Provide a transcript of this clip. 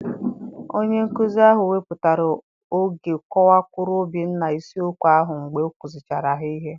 Onye nkuzi ahụ wepụtara oge kọwakwuru Obinna isiokwu ahụ mgbe ọ kuzichara ha ihe.